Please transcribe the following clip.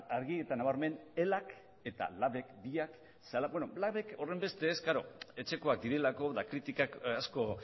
argi eta nabarmen elak eta labek biak labek horrenbeste ez klaro etxekoak direlako eta kritikak asko